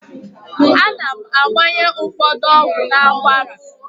A na-agbanye ụfọdụ ọgwụ n'akwara.